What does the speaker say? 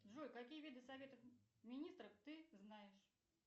джой какие виды советов министров ты знаешь